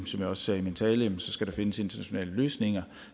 som jeg også sagde i min tale findes internationale løsninger